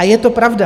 A je to pravda.